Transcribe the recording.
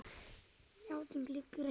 Játning liggur ekki fyrir.